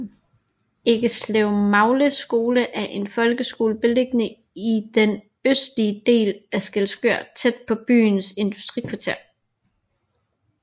Eggeslevmagle skole er en folkeskole beliggende i den østlige del af Skælskør tæt på byens industrikvarter